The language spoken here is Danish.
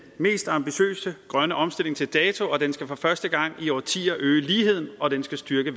mest ambitiøse grønne omstilling til dato den skal for første gang i årtier øge ligheden og den skal styrke